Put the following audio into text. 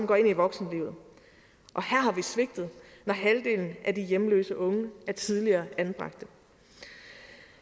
går ind i voksenlivet og vi svigtet når halvdelen af de hjemløse unge er tidligere anbragte